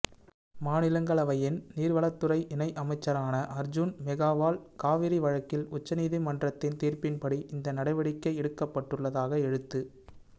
மாநிலங்களவையின் நீர்வளத்துறை இணை அமைச்சரான அர்ஜுன் மேகாவால் காவிரி வழக்கில் உச்சநீதிமன்றத்தின் தீர்ப்பின் படி இந்த நடவடிக்கை எடுக்கப்பட்டுள்ளதாக எழுத்து